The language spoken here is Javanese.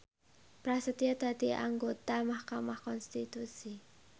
Prasetyo dadi anggota mahkamah konstitusi